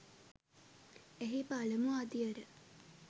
එහි පළමු අදියර